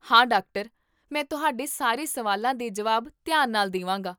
ਹਾਂ, ਡਾਕਟਰ! ਮੈਂ ਤੁਹਾਡੇ ਸਾਰੇ ਸਵਾਲਾਂ ਦੇ ਜਵਾਬ ਧਿਆਨ ਨਾਲ ਦੇਵਾਂਗਾ